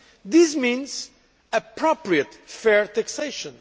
This means appropriate, fair taxation.